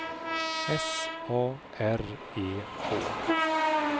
S A R E K